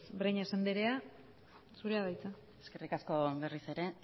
breñas anderea zurea da hitza eskerrik asko berriz ere